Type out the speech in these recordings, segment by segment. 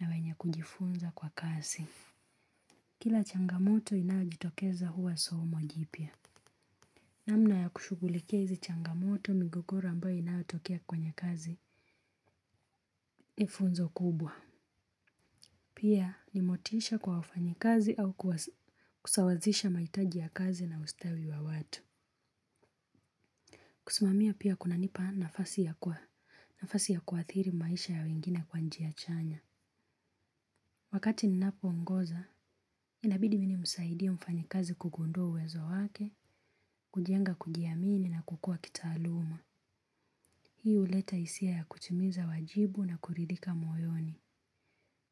na wenye kujifunza kwa kazi. Kila changamoto inayojitokeza huwa somo jipya. Namna ya kushughulikia hizi changamoto migogoro ambayo inayotokea kwenye kazi ni funzo kubwa. Pia ni motisha kwa wafanyi kazi au kusawazisha mahitaji ya kazi na ustawi wa watu. Kusimamia pia kunanipa nafasi ya kuathiri maisha ya wengine kwa njia chanya. Wakati ninapoongoza, inabidi mimi nimsaidie mfanyikazi kugundua uwezo wake, kujenga kujiamini na kukua kitaaluma. Hii huleta hisia ya kutimiza wajibu na kuridhika moyoni.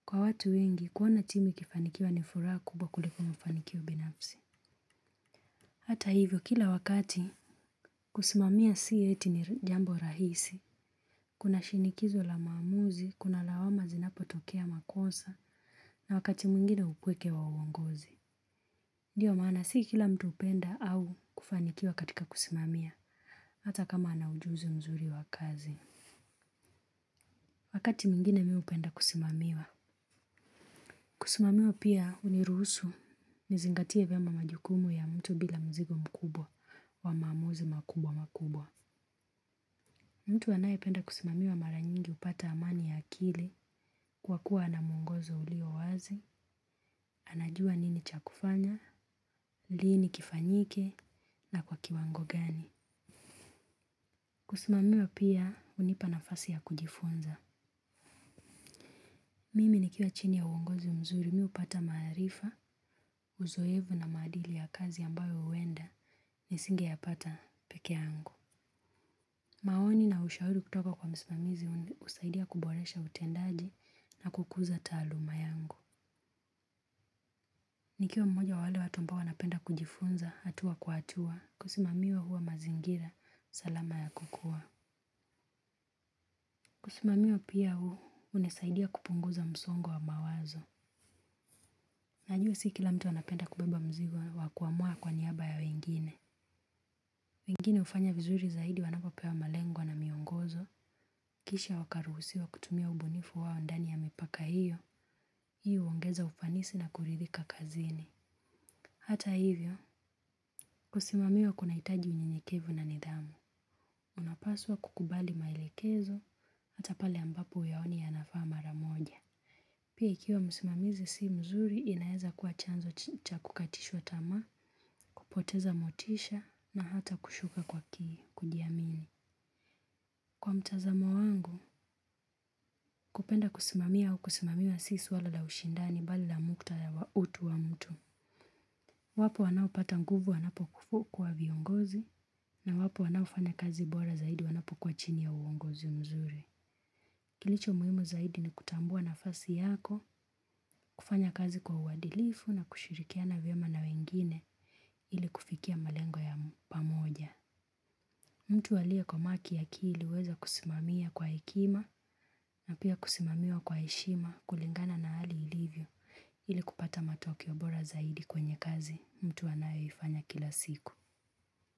Kwa watu wengi, kuona timu ikifanikiwa ni furaha kubwa kuliko mafanikio binafsi. Hata hivyo kila wakati kusimamia si eti ni jambo rahisi. Kuna shinikizo la maamuzi, kuna lawama zinapotokea makosa na wakati mwingine upweke wa uongozi. Ndiyo maana si kila mtu hupenda au kufanikiwa katika kusimamia hata kama ana ujuzi mzuri wa kazi. Wakati mwingine mimi hupenda kusimamiwa. Kusimamiwa pia huniruhusu nizingatie vyema majukumu ya mtu bila mzigo mkubwa wa maamuzi makubwa makubwa. Mtu anayependa kusimamiwa mara nyingi hupata amani ya akili kwa kuwa na mwongozo ulio wazi, anajua nini cha kufanya, lini kifanyike na kwa kiwango gani. Kusimamiwa pia hunipa nafasi ya kujifunza. Mimi nikiwa chini ya uongozi mzuri mimi hupata maarifa, uzoefu na maadili ya kazi ambayo huenda nisingeyapata peke angu. Maoni na ushauri kutoka kwa msimamizi husaidia kuboresha utendaji na kukuza taaluma yangu. Nikiwa mmoja wa wale watu ambao wanapenda kujifunza, hatua kwa hatua, kusimamiwa huwa mazingira, salama ya kukua. Kusimamiwa pia hunisaidia kupunguza msongo wa mawazo. Najua si kila mtu anapenda kubeba mzigo, wa kuamua kwa niaba ya wengine. Wengine hufanya vizuri zaidi wanapopewa malengwa na miongozo. Kisha wakaruhusiwa kutumia ubunifu wao ndani ya mipaka hiyo, hiyo huongeza ufanisi na kuridhika kazini. Hata hivyo, kusimamiwa kunahitaji unyenyekevu na nidhamu. Unapaswa kukubali maelekezo hata pale ambapo huyaoni yanafaa mara moja. Pia ikiwa msimamizi si mzuri inaeza kuwa chanzo cha kukatishwa tamaa, kupoteza motisha na hata kushuka kwa kujiamini. Kwa mtazamo wangu, kupenda kusimamia au kusimamiwa si swala la ushindani bali la muktadha wa utu wa mtu. Wapo wanaopata nguvu wanapokua viongozi na wapo wanaofanya kazi bora zaidi wanapokua chini ya uongozi mzuri. Kilicho muhimu zaidi ni kutambua nafasi yako, kufanya kazi kwa uadilifu na kushirikiana vyema na wengine ili kufikia malengo ya pamoja. Mtu aliyekomaa kiakili huweza kusimamia kwa hekima na pia kusimamiwa kwa heshima kulingana na hali ilivyo ili kupata matokeo bora zaidi kwenye kazi mtu anayoifanya kila siku.